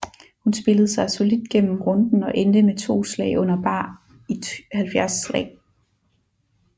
Hun spillede sig solidt gennem runden og endte med 2 slag under bar i 70 slag